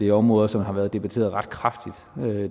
er områder som har været debatteret ret kraftigt